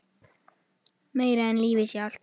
Meira en lífið sjálft.